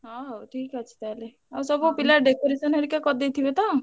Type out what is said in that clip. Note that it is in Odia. ହଁ ଆଉ ଠିକ୍ ଅଛି ତାହେଲେ ଆଉ ସବୁ ପିଲା decoration ହରିକା କରିଦେଇଥିବେ ତ?